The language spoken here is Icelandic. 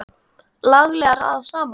Laglega raðað saman!